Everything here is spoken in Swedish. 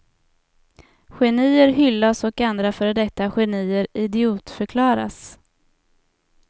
Genier hyllas och andra före detta genier idiotförklaras.